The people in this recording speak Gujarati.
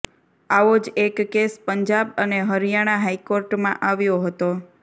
આવો જ એક કેસ પંજાબ અને હરિયાણા હાઈકોર્ટમાં આવ્યો હતો